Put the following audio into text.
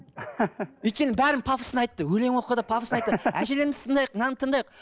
өйткені бәрін пафосно айтты өлең оқыды пафосно айтты әжелерімізді тыңдайық мынаны тыңдайық